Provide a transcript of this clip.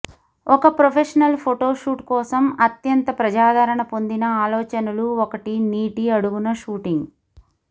ఒక professional photo shoot కోసం అత్యంత ప్రజాదరణ పొందిన ఆలోచనలు ఒకటి నీటి అడుగున షూటింగ్